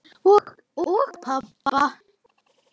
Og pabba.